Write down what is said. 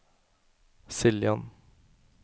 Siljan